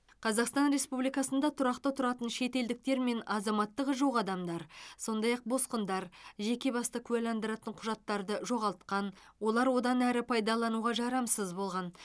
қазақстан республикасында тұрақты тұратын шетелдіктер мен азаматтығы жоқ адамдар сондай ақ босқындар жеке басты куәландыратын құжаттарды жоғалтқан олар одан әрі пайдалануға жарамсыз болған